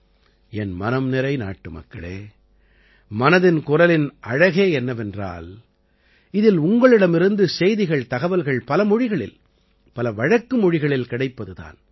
என் மனம் நிறை நாட்டுமக்களே மனதின் குரலின் அழகே என்னவென்றால் இதில் உங்களிடமிருந்து செய்திகள்தகவல்கள் பல மொழிகளில் பல வழக்கு மொழிகளில் கிடைப்பது தான்